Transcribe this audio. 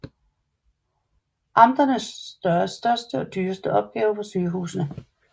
Amternes største og dyreste opgave var sygehusene